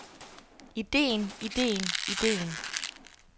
ideen ideen ideen